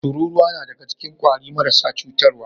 Tururuwa nadaga cikin kwari marasa cutar wa